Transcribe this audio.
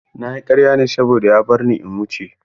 Na yi karya ne saboda ya barni in wuce.